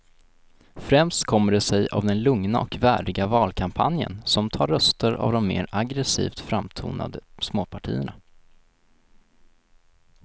Främst kommer det sig av den lugna och värdiga valkampanjen som tar röster av de mer aggresivt framtonade småpartierna.